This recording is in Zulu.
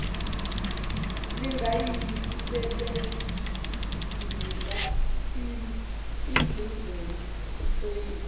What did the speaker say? lingayisebenzisa indluzula iphoyisa